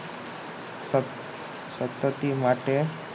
સતતતી માટે